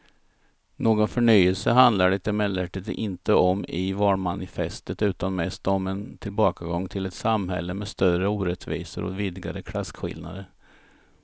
Någon förnyelse handlar det emellertid inte om i valmanifestet utan mest om en tillbakagång till ett samhälle med större orättvisor och vidgade klasskillnader.